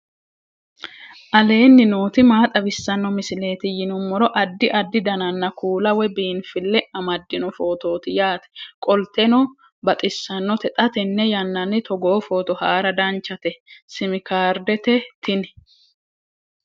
aleenni nooti maa xawisanno misileeti yinummoro addi addi dananna kuula woy biinfille amaddino footooti yaate qoltenno baxissannote xa tenne yannanni togoo footo haara danchate simi kaardete tini